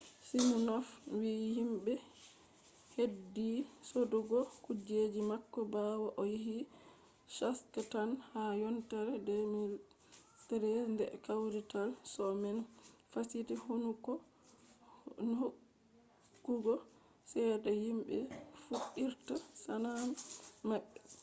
siminof wi himɓe ɓeddi sodugo kujeji mako ɓawo o yehi shak tank ha yontere 2013 nde kawrital sho man fasiti hokkugo cede himɓe fuɗɗirta sana’a maɓɓe